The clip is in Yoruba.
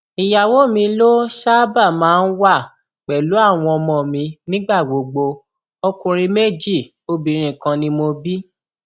ìyàwó mi ló ṣáàbà máa ń wà pẹlú àwọn ọmọ mi nígbà gbogbo ọkùnrin méjì obìnrin kan ni mo bí